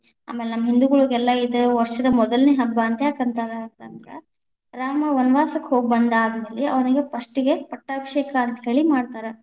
ಆಮೇಲ ನಮ್ಮ ಹಿಂದುಗಳಿಗೆಲ್ಲಾ ಇದ ವಷ೯ದ ಮೊದಲನೇ ಹಬ್ಬಾ ಅಂತ ಯಾಕ ಅಂತಾರಾ, ಅಂತಂದ್ರಾ ರಾಮ ವನವಾಸಕ್ಕ ಹೋಗ್ ಬಂದಾದ ಮೇಲೆ ಅವನಿಗೆ first ಗೆ ಪಟ್ಟಾಭಿಷೇಕ ಅಂತ ಹೇಳಿ ಮಾಡ್ತಾರ.